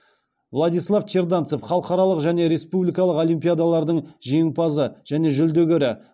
владислав черданцев халықаралық және республикалық олимпиадалардың жеңімпазы және жүлдегері